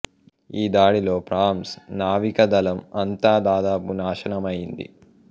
ఈ దాడిలో ప్రాంస్ నావికా దళం అంతా దాదాపు నాశనమయ్యింది